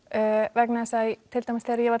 vegna þess að til dæmis þegar ég var